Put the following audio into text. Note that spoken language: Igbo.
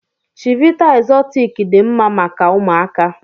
Chivita exortic dị mma maka ụmụaka.